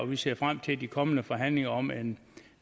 vi ser frem til de kommende forhandlinger om en